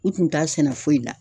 U tun t'a sɛnɛ foyi la.